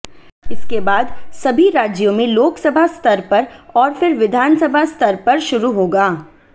इसके बाद सभी राज्यों में लोकसभा स्तर पर और फिर विधानसभा स्तर पर शुरू होगा